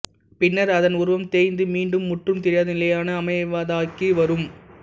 பின்னர் அதன் உருவம் தேய்ந்து மீண்டும் முற்றும் தெரியாத நிலையான அமைவாதைக்கு வரும்